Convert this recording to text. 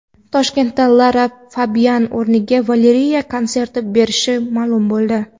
Toshkentda Lara Fabian o‘rniga Valeriya konsert berishi ma’lum bo‘ldi.